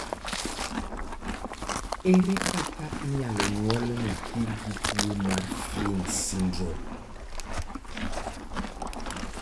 Ere kaka inyalo nyuol nyathi gi tuwo mar Fryns syndrome?